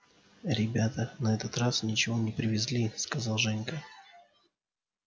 ребята на этот раз ничего не привезли сказал женька